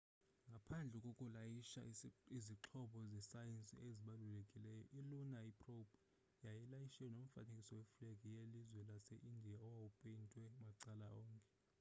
ngaphandle kokulayisha izixhobo zesayensi ezibalulekileyo i-lunar probe yayilayishe nomfanekiso weflegi yelizwe lase-indiya owawupeyntwe macala onke